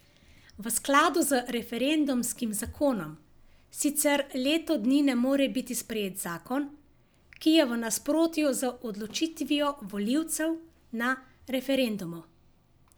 V skladu z referendumskim zakonom sicer leto dni ne more biti sprejet zakon, ki je v nasprotju z odločitvijo volivcev na referendumu.